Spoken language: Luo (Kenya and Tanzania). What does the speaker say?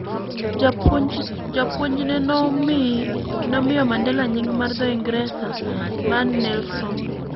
Japuonjne nomiyo Mandela nying ' mar dho Ingresa mar "Nelson".